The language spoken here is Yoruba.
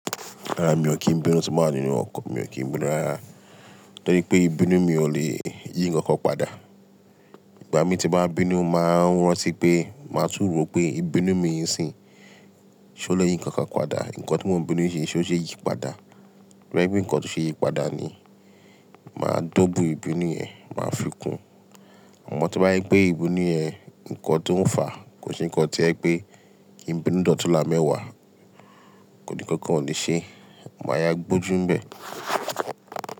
Rárá mi ò kí ń bínú tí mo bá nínu ọ̀kò, mi ò kí ń bínú rárá. Torí pé ìbínú mi ò lè yí ǹkan kan padà. Ìgbà mi tí màá bínú, màá rántí pé, màá tún rò pé ìbínú mi yìí ṣìń, ṣé ó lè yí ǹkan kan padà? Ǹkan tí mò ń bínú yìí ṣé ó ṣe é yí padà? Tó bá jé ǹkan tó ṣe yí padà ni màá dọ́gun ìbínú yẹn, màá fi kún. Àmọ́ tí bá yẹ pé ìbínú yẹn ǹkan tó ń fà á, kò sì ǹkan tí ẹ pé, ìbínú dòtí là mẹ́wàá, kò ní ǹkan kankan ò ní ṣe, màá yá gbójú ń bẹ̀